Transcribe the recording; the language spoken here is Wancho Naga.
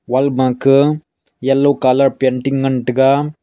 wall ma ka yellow colour ma painting ngan taiga.